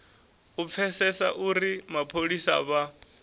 u pfesesa uri mapholisa vha